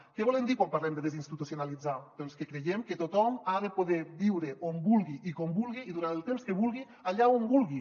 què volem dir quan parlem de desinstitucionalitzar doncs que creiem que tothom ha de poder viure on vulgui i com vulgui i durant el temps que vulgui allà on vulgui